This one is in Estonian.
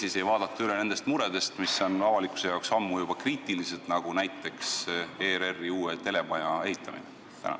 Ega ei plaanita vaadata üle muredest, mis on avalikkuse arvates juba ammu kriitilised, näiteks ERR-i uue telemaja ehitamine?